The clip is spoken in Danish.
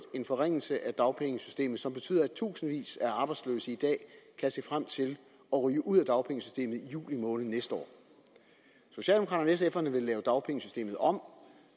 en forringelse af dagpengesystemet som betyder at tusindvis af arbejdsløse i dag kan se frem til at ryge ud af dagpengesystemet i juli måned næste år socialdemokraterne vil lave dagpengesystemet om